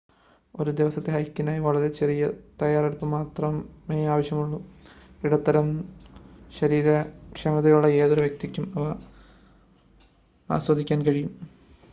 ഒരു ദിവസത്തെ ഹൈക്കിനായി വളരെ ചെറിയ തയ്യാറെടുപ്പ് മാത്രമേ ആവശ്യമുള്ളൂ ഇടത്തരം ശരീരക്ഷമതയുള്ള ഏതൊരു വ്യക്തിക്കും അവ ആസ്വദിക്കാൻ കഴിയും